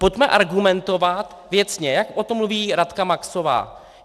Pojďme argumentovat věcně, jak o tom mluví Radka Maxová.